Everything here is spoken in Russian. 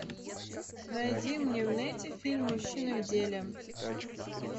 найди мне в нете фильм мужчины в деле